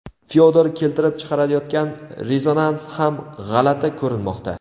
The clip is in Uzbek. Fyodor keltirib chiqarayotgan rezonans ham g‘alati ko‘rinmoqda.